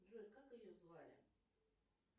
джой как ее звали